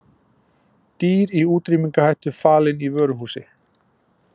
Dýr í útrýmingarhættu falin í vöruhúsi